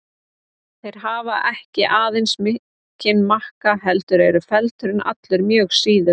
Þeir hafa ekki aðeins mikinn makka heldur eru feldurinn allur mjög síður.